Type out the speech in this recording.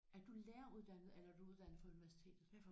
Er du læreruddannet eller er du uddannet fra universitetet?